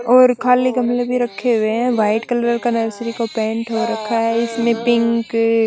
और खाली गमलो में रखे हुए है वाइट कलर का पेंट हो रखा है इसमें पिंक --